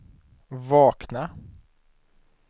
vakna